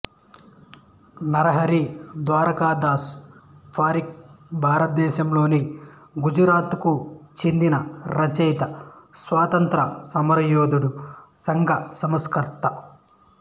నరహరి ద్వారకాదాస్ పారిఖ్ భారతదేశంలోని గుజరాత్ కు చెందిన రచయిత స్వాతంత్ర్య సమరయోధుడు సంఘ సంస్కర్త